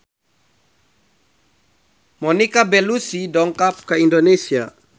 Monica Belluci dongkap ka Indonesia